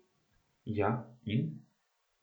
Ja, in?